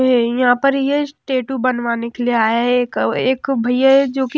यहां पर ये टैटू बनवाने के लिए आए हैं एक एक भइया है जो कि --